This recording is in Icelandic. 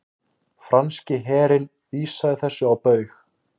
Franski herinn vísaði þessu á bug